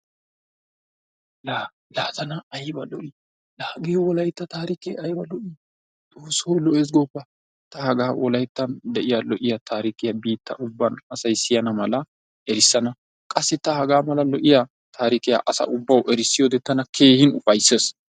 Laa laa tana ayba loo'i! Laa hagee wolaytta taarike ayba loo'i xooso lo'ees goopa ta hagaa wolayttan de'iya lo'iya tarikiya biita ubban asay siyana mala erisana. Qassi ta hagaa mala lo'iya taarikiya asa ubawu erissiyode tana keehin ufaysees.